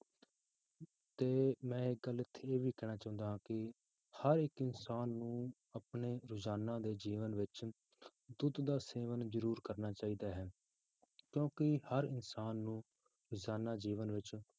ਤੇ ਮੈਂ ਇੱਕ ਗੱਲ ਇੱਥੇ ਇਹ ਵੀ ਕਹਿਣਾ ਚਾਹੁੰਦਾ ਹਾਂ ਕਿ ਹਰ ਇੱਕ ਇਨਸਾਨ ਨੂੰ ਆਪਣੇ ਰੋਜ਼ਾਨਾ ਦੇ ਜੀਵਨ ਵਿੱਚ ਦੁੱਧ ਦਾ ਸੇਵਨ ਜ਼ਰੂਰ ਕਰਨਾ ਚਾਹੀਦਾ ਹੈ ਕਿਉਂਕਿ ਹਰ ਇਨਸਾਨ ਨੂੰ ਰੋਜ਼ਾਨਾ ਜੀਵਨ ਵਿੱਚ